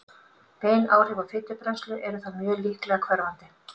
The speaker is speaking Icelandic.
bein áhrif á fitubrennslu eru þó mjög líklega hverfandi